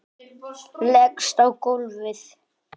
Leggst á gólfið.